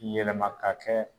Yɛlɛma k'a kɛ